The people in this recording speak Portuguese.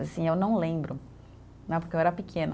Assim, eu não lembro né, porque eu era pequena.